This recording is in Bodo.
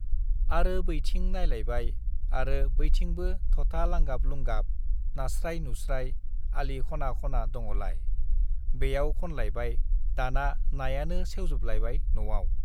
आरो बैथिं नायलायबाय आरो बैथिंबो थथा लांगाब-लुंगाब नास्राइ-नुस्राइ आलि खना-खना दङलाय, बेयाव खनलायबाय दाना नायानो सेवजोबलायबाय न'आव।